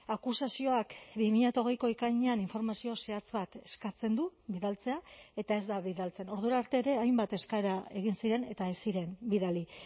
akusazioak bi mila hogeiko ekainean informazio zehatz bat eskatzen du bidaltzea eta ez da bidaltzen ordura arte ere hainbat eskaera egin ziren eta ez ziren bidali